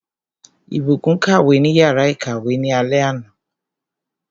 Ìbùkún kàwé ní yàrá ìkàwé ní alé àná.